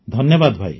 ଧନ୍ୟବାଦ ଭାଇ